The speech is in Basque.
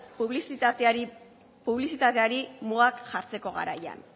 publizitateari mugak jartzeko garaian